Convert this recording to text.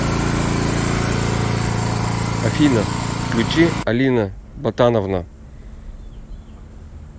афина включи алина ботановна